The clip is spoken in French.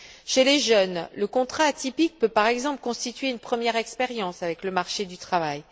Chez les jeunes, le contrat atypique peut, par exemple, constituer une première expérience sur le marché du travail.